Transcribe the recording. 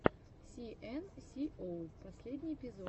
си эн си оу последний эпизод